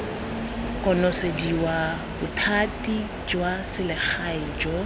konosediwa bothati jwa selegae jo